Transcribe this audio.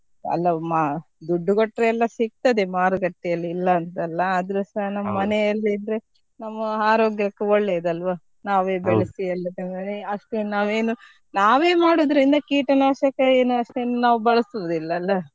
ಅಲ್ಲ ಮಾ~ ದುಡ್ಡು ಕೊಟ್ರೆ ಎಲ್ಲ ಸಿಗ್ತದೆ ಮಾರುಕಟ್ಟೆಯಲ್ಲಿ ಇಲ್ಲ ಅಂತ ಅಲ್ಲ ಆದ್ರುಸ ನಮ್ಮನೇಲಿದ್ರೆ ನಮ್ಮ ಆರೋಗ್ಯಕ್ಕು ಒಳ್ಳೇದಲ್ವಾ ನಾವೇ ಅಷ್ಟೇನು ನಾವೇನು ನಾವೇ ಮಾಡೋದ್ರಿಂದ ಕೀಟನಾಶಕ ಏನು ಅಷ್ಟೇನು ನಾವ್ ಬಳಸುದಿಲ್ಲ ಅಲ್ಲ.